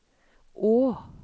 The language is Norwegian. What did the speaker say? å